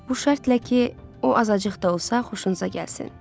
Bu şərtlə ki, o azacıq da olsa xoşunuza gəlsin.